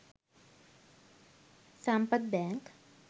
sampath bank